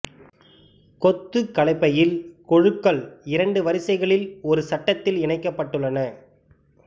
கொத்துக் கலப்பையில் கொழுக்கள் இரண்டு வரிசைகளில் ஒரு சட்டத்தில் இணைக்கப்பட்டுள்ளன